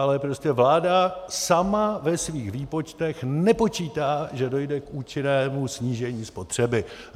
Ale prostě vláda sama ve svých výpočtech nepočítá, že dojde k účinnému snížení spotřeby.